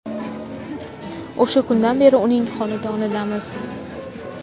O‘sha kundan beri uning xonadonidamiz.